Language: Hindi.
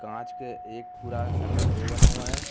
कांच के एक पूरा शटर वो बना हुआ है।